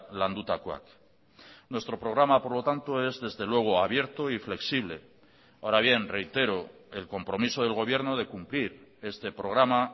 landutakoak nuestro programa por lo tanto es desde luego abierto y flexible ahora bien reitero el compromiso del gobierno de cumplir este programa